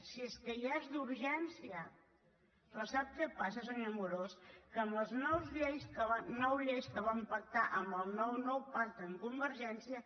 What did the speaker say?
si és que ja és d’urgència però sap què passa senyor amorós que en les nou lleis que van pactar en el nou nou pacte amb convergència